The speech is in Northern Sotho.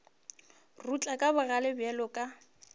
rutla ka bogale bjalo ka